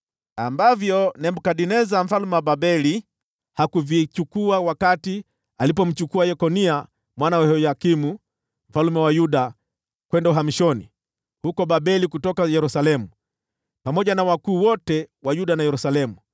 ambavyo Nebukadneza mfalme wa Babeli hakuvichukua wakati alipomchukua Yekonia mwana wa Yehoyakimu mfalme wa Yuda kwenda uhamishoni huko Babeli kutoka Yerusalemu, pamoja na wakuu wote wa Yuda na Yerusalemu.